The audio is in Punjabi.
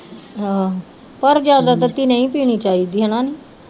ਆਹੋ ਪਰ ਜਿਆਦਾ ਤੱਤੀ ਨਹੀ ਪੀਣੀ ਚਾਹੀਦੀ ਹੇਨਾ